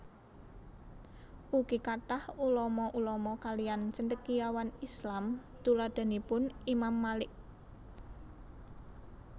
Ugi kathah ulama ulama kaliyan Cendekiawan Islam tuladhanipun Imam Malik